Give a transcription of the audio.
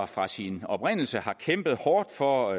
fra sin oprindelse har kæmpet hårdt for